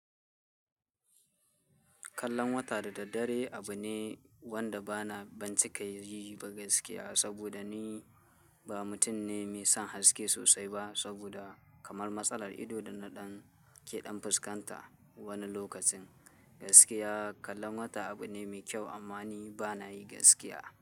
Kallon wata da daddare abu ne wanda ba na bancika yi ba gaskiya, saboda ni ba mutum ne mai son haske sosai ba saboda kamar matsalar ido da na ɗan keɗan fuskanta wani lokacin. Gaskiya kallon wata abu ne mai kyau amma ni bana yi gaskiya.